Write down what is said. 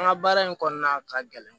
An ka baara in kɔnɔna ka gɛlɛn